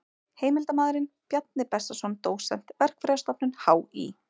Heimildarmaður: Bjarni Bessason dósent, Verkfræðistofnun HÍ.